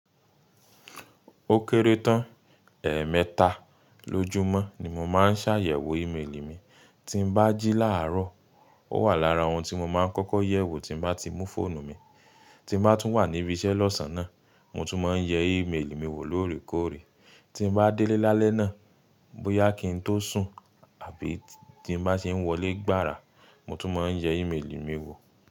Ó kéré tán, ẹẹ̀mẹta lójúmọ́ ni mo máa ń ṣàyẹ̀wò ímeèlì mi. Tí n bá jí láàárọ̀, ó wà lára ohun tí mo máa ń kọ́kọ́ yẹ̀wò tí bá ti mú fóònù mi. Tí mo bá tún wà níbí iṣẹ́ lọ́sàn-án náà, mo tún máa ń yẹ ímeèlì mi wò lóòrèkóòrè. Tí n bá délé lálẹ́ náà, bóyá kí n tó sùn àbí tí n bá ṣe ń wọlé gbára, mo tún máa ń yẹ ímeèlì mi wò.